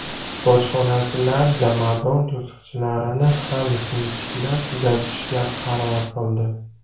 Bojxonachilar jomadon tutqichlarini ham sinchiklab kuzatishga qaror qildi.